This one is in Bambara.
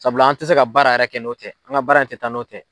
Sabula an tɛ se ka baara yɛrɛ kɛ n'o tɛ an ka baara yɛrɛ tɛ taa n'o tɛ.